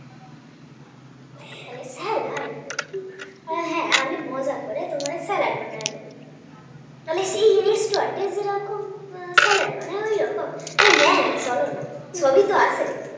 বলে salad হ্যাঁ আমি মজা করে তোমাকে salad বানিয়ে দেবো বলে Resturant এ যেরকম সালাত বানায় ওই রকম? হ্যাঁ হ্যাঁ চলনা সবই তো আছে